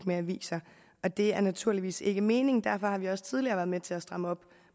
med aviser og det er naturligvis ikke meningen derfor har vi også tidligere været med til at stramme op